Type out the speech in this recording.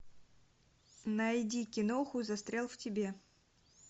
найди киноху застрял в тебе